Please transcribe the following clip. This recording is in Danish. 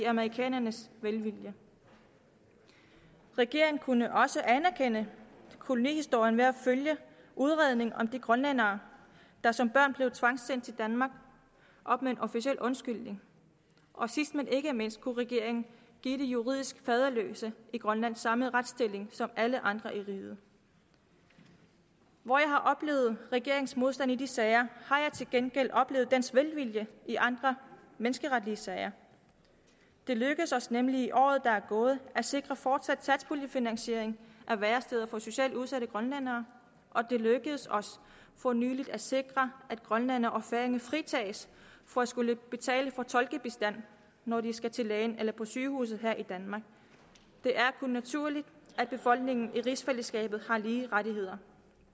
amerikanerne velvilje regeringen kunne også anerkende kolonihistorien ved at følge udredningen om de grønlændere der som børn blev tvangssendt til danmark op med en officiel undskyldning og sidst men ikke mindst kunne regeringen give de juridisk faderløse i grønland samme retsstilling som alle andre i riget hvor jeg har oplevet regeringens modstand i de sager har jeg til gengæld oplevet dens velvilje i andre menneskeretlige sager det lykkedes os nemlig i året der er gået at sikre fortsat satspuljefinansiering af væresteder for socialt udsatte grønlændere og det lykkedes os for nylig at sikre at grønlændere og færinger fritages for at skulle betale for tolkebistand når de skal til lægen eller på sygehuset her i danmark det er kun naturligt at befolkningen i rigsfællesskabet har lige rettigheder